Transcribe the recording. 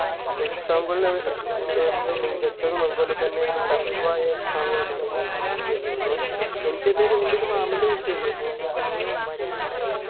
exam കളിൽ ഏർ ഏർ പിന്നെ മികച്ചതും അതുപോലെതന്നെ ഒരു tough ആയ exam കളിൽ ഒന്നാണ് UPSC ന്നു തോന്നുന്നു എനിക്ക് തന്നെ ഒരു എൻ്റെ ഒരു മാമൻ്റെ കുട്ടിയുണ്ട് മൂപ്പ അവനു മറ്റേ മ്മുടെ